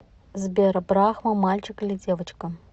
сбер брахма мальчик или девочка